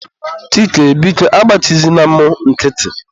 Chike, biko agbachizina mụ nkịtị.